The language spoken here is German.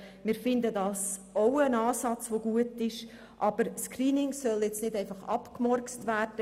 Das halten wir auch für einen guten Ansatz, aber das Screening soll jetzt nicht einfach abgemurkst werden.